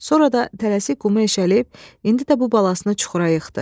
Sonra da tələsik qumu eşəliyib indi də bu balasını çuxura yıxdı.